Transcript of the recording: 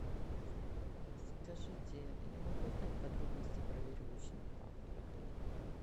скажите я могу узнать подробности про веревочный парк в отеле